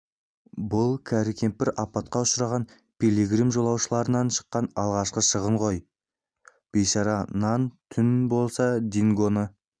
бұл кәрі кемпір апатқа ұшыраған пилигрим жолаушыларынан шыққан алғашқы шығын ой бейшара нан түн болса дингоны